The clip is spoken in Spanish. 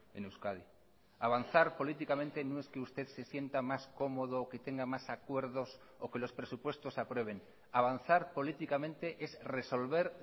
en euskadi avanzar políticamente no es que usted se sienta más cómodo o que tenga más acuerdos o que los presupuestos se aprueben avanzar políticamente es resolver